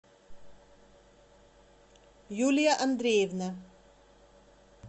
юлия андреевна